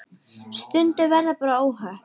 Stundum verða bara óhöpp.